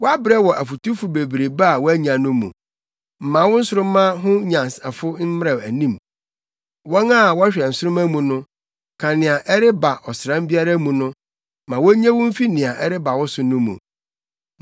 Woabrɛ wɔ afotufo bebrebe a woanya no mu! Ma wo nsoromma ho anyansafo mmra anim, wɔn a wɔhwɛ nsoromma mu no, ka nea ɛreba ɔsram biara mu no, ma wonnye wo mfi nea ɛreba wo so no mu.